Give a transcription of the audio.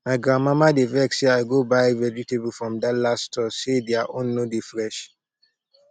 my grandmama dey vex say i go buy vegetable from dallas stores say their own no dey fresh